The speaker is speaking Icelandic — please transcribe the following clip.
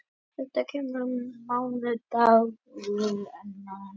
Þetta kemur í ljós á mánudag á einn eða annan hátt.